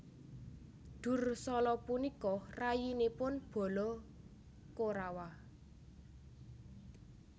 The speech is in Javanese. Dursala punika rayinipun bala Korawa